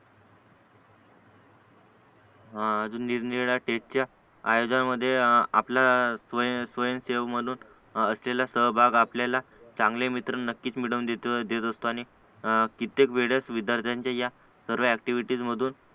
आ अजून निरनिराळ्या स्टेजच्या आयोजनामध्ये आपल्या स्वयं स्वयंसेवक म्हणून त्याला सहभाग आपल्याला चांगले मित्र नक्कीच मिळवून देतो देत असतो आणि कित्येक वेळेस विद्यार्थ्यांच्या या सर्व ऍक्टिव्हिटीज मधून